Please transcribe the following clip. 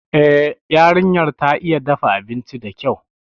Eh, yarinyar ta iya dafa abinci dakyau